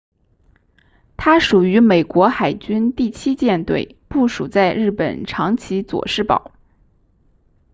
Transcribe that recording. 它属于美国海军第七舰队部署在日本长崎佐世保